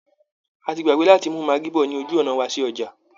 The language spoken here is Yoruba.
A ti gbàgbé láti mú maggi bọ̀ ní ojú ọ̀nà wa sí ọjà